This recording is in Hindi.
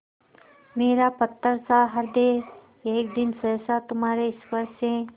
मेरा पत्थरसा हृदय एक दिन सहसा तुम्हारे स्पर्श से